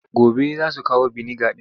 Gobe za su kawo biniga ɗin.